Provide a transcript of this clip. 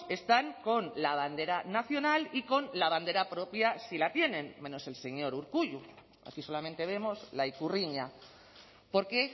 están con la bandera nacional y con la bandera propia si la tienen menos el señor urkullu aquí solamente vemos la ikurriña por qué